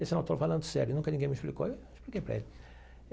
Disse não eu estou falando sério, nunca ninguém me explicou e eu expliquei para ele.